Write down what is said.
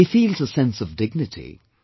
He feels a sense of dignity